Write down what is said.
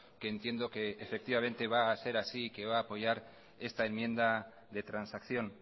que entiendo que efectivamente va a ser así que va a apoyar esta enmienda de transacción